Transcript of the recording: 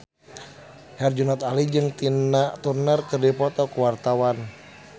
Herjunot Ali jeung Tina Turner keur dipoto ku wartawan